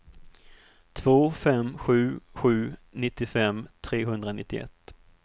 två fem sju sju nittiofem trehundranittioett